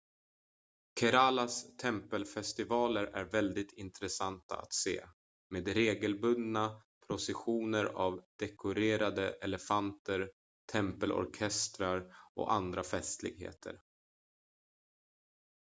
keralas tempelfestivaler är väldigt intressanta att se med regelbundna processioner av dekorerade elefanter tempelorkestrar och andra festligheter